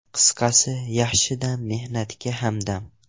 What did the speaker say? Qisqasi, yaxshi dam mehnatga hamdam.